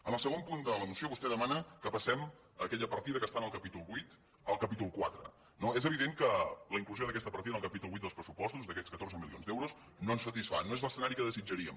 en el segon punt de la moció vostè demana que passem aquella partida que està en el capítol vuit al capítol quatre no és evident que la inclusió d’aquesta partida en el capítol vuit dels pressupostos d’aquests catorze milions d’euros no ens satisfà no és l’escenari que desitjaríem